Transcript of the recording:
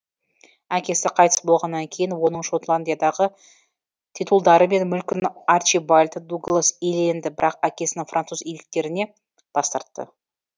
әкесі қайтыс болғаннан кейін оның шотландиядағы титулдары мен мүлкін арчибальд дуглас иеленді бірақ әкесінің француз иеліктерінен бас тартты